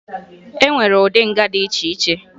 E nwere ụdị nga dị iche iche